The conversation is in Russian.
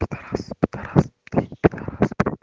пидорас пидорас пид и дорас